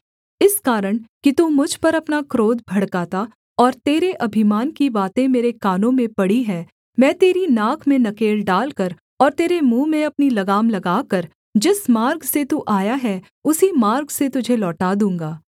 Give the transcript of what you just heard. इस कारण कि तू मुझ पर अपना क्रोध भड़काता और तेरे अभिमान की बातें मेरे कानों में पड़ी हैं मैं तेरी नाक में नकेल डालकर और तेरे मुँह में अपनी लगाम लगाकर जिस मार्ग से तू आया है उसी मार्ग से तुझे लौटा दूँगा